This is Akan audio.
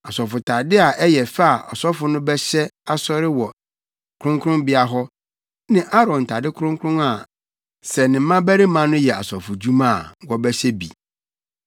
asɔfotade a ɛyɛ fɛ a ɔsɔfo no bɛhyɛ asɔre wɔ kronkronbea hɔ ne Aaron ntade kronkron a sɛ ne mmabarima no yɛ asɔfodwuma a, wɔbɛhyɛ bi.”